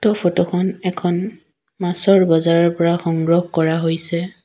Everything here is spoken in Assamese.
ফটো খন এখন মাছৰ বজাৰৰ পৰা সংগ্ৰহ কৰা হৈছে।